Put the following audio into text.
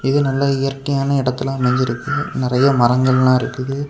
இது நல்லா இயற்கையான இடத்தில் அமைஞ்சிருக்கு நெறைய மரங்கள் எல்லா இருக்குது.